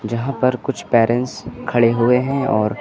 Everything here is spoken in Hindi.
जहां पर कुछ पेरेंट्स खड़े हुए हैं और--